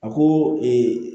A ko